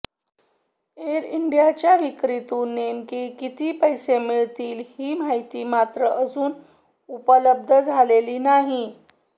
air इंडियाच्या विक्रीतून नेमके किती पैसे मिळतील ही माहिती मात्र अजून उपलब्ध झालेली नाही